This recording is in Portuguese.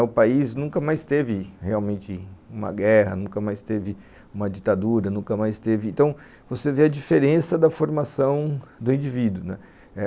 O país nunca mais teve realmente uma guerra, nunca mais teve uma ditadura, nunca mais teve... Então, você vê a diferença da formação do indivíduo, né.